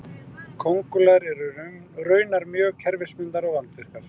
köngulær eru raunar mjög kerfisbundnar og vandvirkar